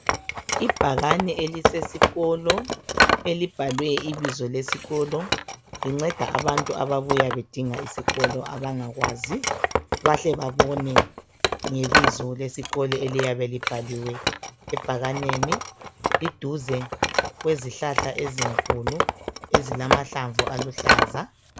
ibhakane elisesikolo elibhale ibizo lesikolo linceda abantu ababuya bedinga isikolo bangakwazi bahle babone ngebizo lesikolo eliyabe libhaliwe ebhakaneni liduze kwezihlahla ezinkulu ezilamahlamvu aluhlaza